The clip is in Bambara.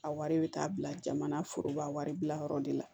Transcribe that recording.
A wari bɛ taa bila jamana foroba waribilayɔrɔ de la